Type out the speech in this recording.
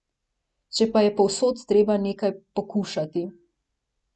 Če pa je povsod treba nekaj pokušati ...